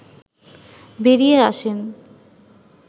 বেরিয়ে আসেন